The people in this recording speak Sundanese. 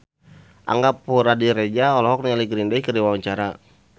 Angga Puradiredja olohok ningali Green Day keur diwawancara